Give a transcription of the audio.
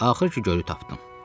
Axır ki, gölü tapdım.